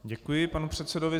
Děkuji panu předsedovi.